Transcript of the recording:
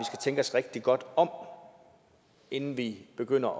tænke os rigtig godt om inden vi begynder